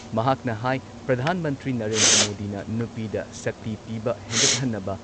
ꯃꯍꯥꯛꯅ ꯍꯥꯏ ꯄ꯭ꯔꯙꯥꯟ ꯃꯟꯇ꯭ꯔꯤ ꯅꯔꯦꯟꯗ꯭ꯔ ꯃꯣꯗꯤꯅ ꯅꯨꯄꯤꯗ ꯁꯛꯇꯤ ꯄꯤꯕ ꯍꯦꯟꯒꯠꯍꯟꯅꯕ